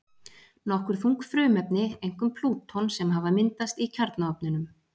Nokkur þung frumefni, einkum plúton, sem hafa myndast í kjarnaofninum.